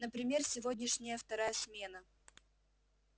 например сегодняшняя вторая смена